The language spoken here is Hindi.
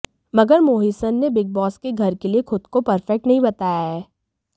मगर मोहिसन ने बिग बॉस के घर के लिए खुद को परफेक्ट नहीं बताया है